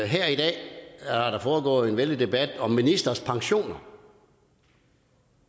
her i dag er der foregået en vældig debat om ministres pensioner